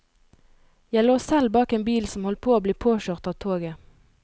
Jeg lå selv bak en bil som holdt på å bli påkjørt av toget.